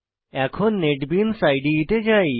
এখন নেটবিনস ইদে তে যাই